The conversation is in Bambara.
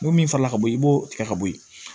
N ko min fa la ka bɔ i b'o tigɛ ka bɔ yen